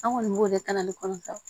An kɔni b'o de kalan ne kɔnɔntɔn